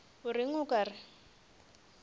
o reng o ka re